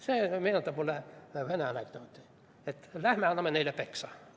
See meenutab mulle vene anekdooti: "Lähme anname neile peksa!